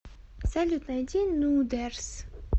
салют найди нудерс